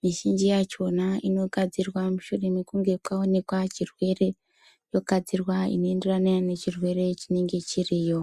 mizhinji yakona inogadzirwa mushure mekunge maonekwa zvirwere inogadzirwa inoenderana nechirwere chinenge chiriyo.